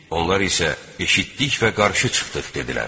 Onlar isə: “Eşitdik və qarşı çıxdıq!” – dedilər.